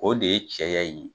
O de ye cɛ ya in ye.